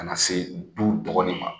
Kana se du dɔgɔnin ma